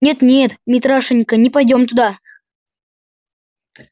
нет нет митрашенька не пойдём туда